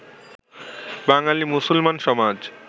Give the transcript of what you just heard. বাঙালী মুসলমান সমাজ